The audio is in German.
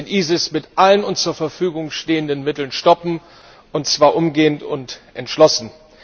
Wir müssen den ISIS mit allen uns zur Verfügung stehenden Mitteln stoppen, und zwar umgehend und entschlossen.